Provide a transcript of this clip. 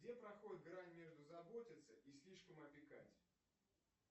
где проходит грань между заботиться и слишком опекать